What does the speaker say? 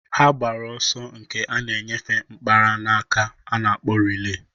Ha gbara ọsọ nke a na-enyefe mkpara na-aka a na-akpọ rilee.